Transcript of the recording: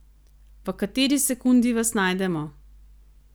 V kateri sekundi vas najdemo?